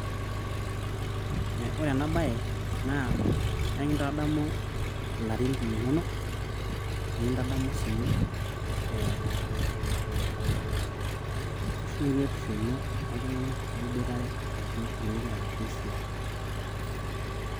ore enabae naa ekitadamu ilarin linonok, nikitadamu sii sheruetisho ino oltunganak liboitare ashu ooltunganak ligira asie esiai.